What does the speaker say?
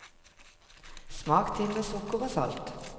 Smak til med sukker og salt.